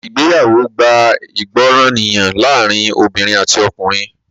Ìgbéyàwó gbá ìgbọràniye láàrin obìnrin àti ọkùnrin.